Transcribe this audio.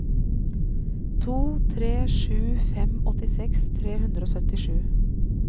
to tre sju fem åttiseks tre hundre og syttisju